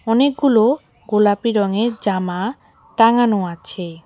অনেকগুলো গোলাপি রঙের জামা টাঙানো আছে।